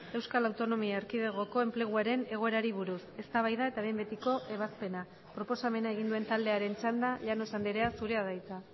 euskal autonomia erkidegoko enpleguaren egoerari buruz eztabaida eta behin betiko ebazpena proposamena egin duen taldearen txanda llanos andrea zurea da hitza